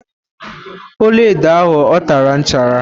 ọla edo a o tara nchara?